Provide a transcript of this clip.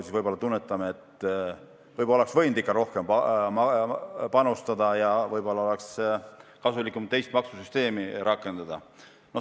Siis võib-olla tunnetame, et võiks ikka rohkem panustada ja võib-olla oleks kasulikum teist maksusüsteemi rakendada.